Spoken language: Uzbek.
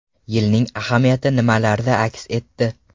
Yilning ahamiyati nimalarda aks etdi?